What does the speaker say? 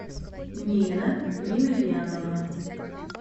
нина емельянова